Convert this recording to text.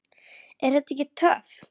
Er þetta ekki töff?